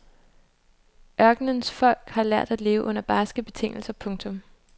Ørkenens folk har lært at leve under barske betingelser. punktum